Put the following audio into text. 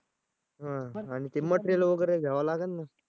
हां आणि ते material वगैरे घ्यावं लागल ना